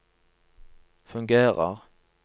fungerer